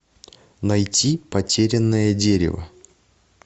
найти потерянное дерево